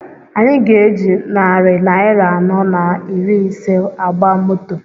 Anyị ga-eji narị naira anọ na iri ise agba moto